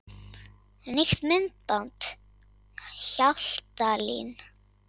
Nýtt myndband Hjaltalín